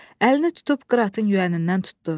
Əlini tutub qıratın yüyənindən tutdu.